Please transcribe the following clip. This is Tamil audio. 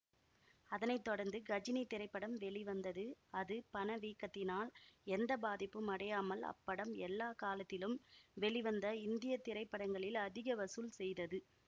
அதனை தொடர்ந்து கஜினி திரைப்படம் வெளிவந்தது அது பணவீக்கத்தினால் எந்த பாதிப்பும் அடையாமல் அப்படம் எல்லா காலத்திலும் வெளிவந்த இந்திய திரைப்படங்களில் அதிக வசூல் செய்தது